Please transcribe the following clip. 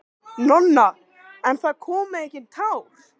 Nonna, en það komu engin tár.